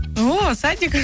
ооо садик